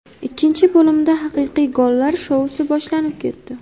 Ikkinchi bo‘limda haqiqiy gollar shousi boshlanib ketdi.